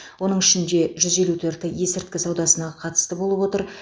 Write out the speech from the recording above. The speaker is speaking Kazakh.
оның ішінде жүз елу төрті есірткі саудасына қатысты болып отыр